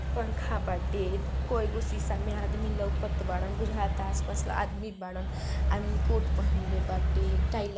पंखा बाटे कई गो शीशा में आदमी लउकत बाड़न। बुझाता आस पास आदमी बरान आदमी कोट पहन ले बाटे टाइ --